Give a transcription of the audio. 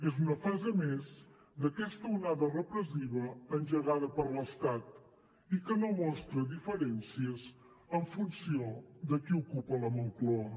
és una fase més d’aquesta onada repressiva engegada per l’estat i que no mostra diferències en funció de qui ocupa la moncloa